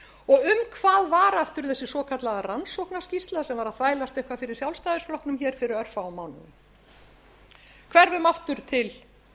og um hvað var aftur þessi svokallaða rannsóknarskýrsla sem var að þvælast eitthvað fyrir sjálfstæðisflokknum hér fyrir örfáum mánuðum hverfum aftur til